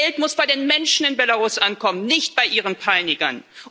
Das Geld muss bei den Menschen in Belarus ankommen, nicht bei ihren Peinigern.